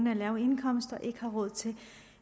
af lave indkomster ikke har råd til